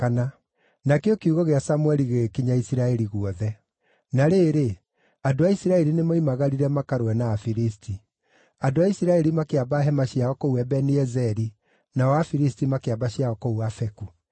20 Na rĩrĩ, andũ a Isiraeli nĩmoimagarire makarũe na Afilisti. Andũ a Isiraeli makĩamba hema ciao kũu Ebeni-Ezeri, nao Afilisti makĩamba ciao kũu Afeku.